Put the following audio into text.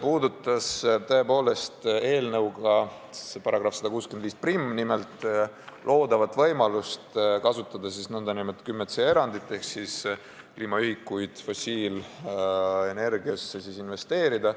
puudutas eelnõu §-ga 1651 loodavat võimalust kasutada nn 10c erandit ehk kliimaühikuid fossiilenergiasse investeerida.